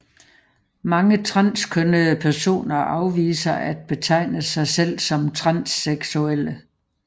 Mange transkønnede personer afviser at betegne sig selv som transseksuelle